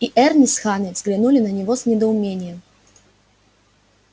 и эрни с ханной взглянули на него с недоумением